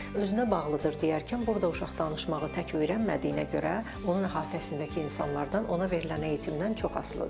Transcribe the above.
Özünə bağlıdır deyərkən, burda uşaq danışmağı tək öyrənmədiyinə görə, onun əhatəsindəki insanlardan, ona verilən eğitimdən çox asılıdır.